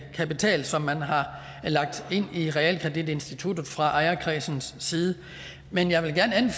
kapital som man har lagt ind i realkreditinstituttet fra ejerkredsens side men jeg vil gerne